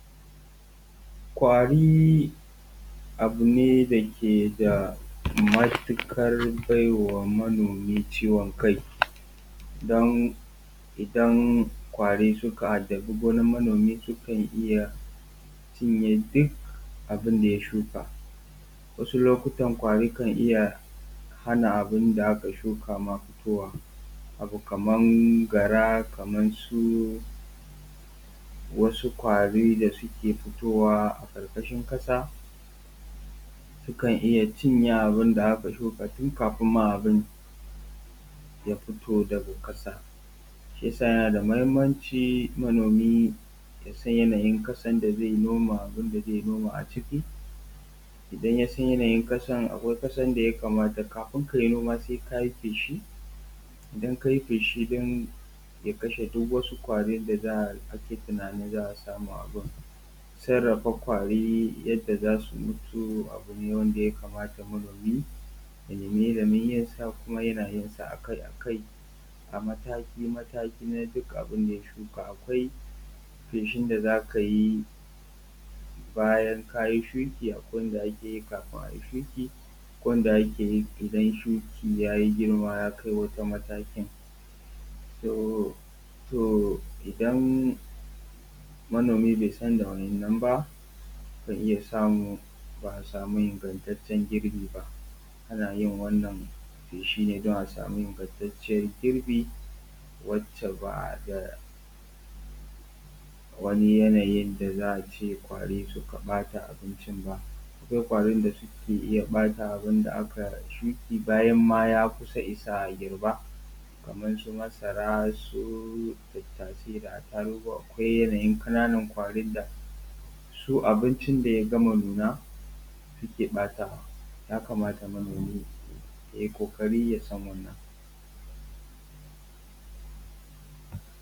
Ƙwari abu ne da ke da matuƙar bai wa manomi ciwon kai, don idan ƙwari suka addabi gonar manomi sukan iya cinye duk abinda ya shuka. Wasu lokutan ƙwari kan iya hana duk abin da aka shuka fitowa. Abu kamar gara, kaman su ƙwari da suke fitowa a ƙarkashin ƙasa, sukan iya cinye abin da aka shuka tun kafin ma abun ya fito daga ƙasa. Shi ya sa yana da mahimmanci manomi yasan yanayin ƙasan da zai noma, abinda zai noma a cikin. Idan ya san yanayin ƙasan, akwai ƙasan da ya kamata kafin ka yi noman sai ka yi feshi, idan ka yi feshi ɗin ya kashe duk wani ƙwari da ake tunanin za a samu a gun. Sarrafa ƙwari yadda za su mutu abu ne wanda ya kamata manomi ya nema illimin yin sa, kuma yana yin sa akai akai, mataki mataki na duk abinda ya shuka, akwai feshin da za ka yi bayan ka yi shuki, akwai wanda ake yi kafin a yi shuki, akwai wanda ake yi idan shuka ya yi girma ya shiga matakin. To idan manomi bai san da wa'innan ba, akan iya samu ba a samu ingantatcen girbi ba. Ana yin wannan feshi ne don a samu ingantatcen girbi wacce ba da wani yanayin da za a ce ƙwari suka ɓata abincin ba. Akwai ƙwarim da suke iya ɓata abin da aka yi shuki bayan ma ya kusa isa a girba, kamar su masara, su tattasai, da atarugu, akwai yanayin ƙananan ƙwarin da su abincin da ya gama nuna suke ɓatawa. Ya kamata manomi yayi ƙokari yasan wannan.